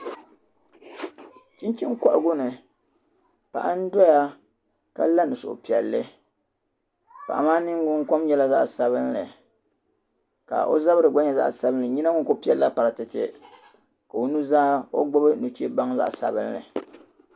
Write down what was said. Chinchina kohigu ni paɣa n doya ka la ni suhu piɛlli paɣa maa ningbun kom nyɛla zaɣisabinli ka o zabiri gba nye zaɣ'sabinli o nyina ku piɛlli la paratete ku o ni zaa ka gbubi ni che baŋ zaɣ'sabinli.